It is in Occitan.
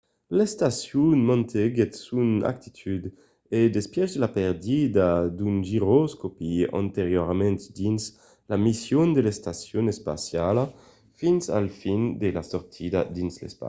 l'estacion mantenguèt son actitud en despièch de la pèrdia d'un giroscòpi anteriorament dins la mission de l'estacion espaciala fins a la fin de la sortida dins l'espaci